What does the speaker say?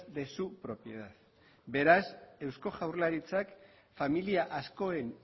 de su propiedad beraz eusko jaurlaritzak familia askoren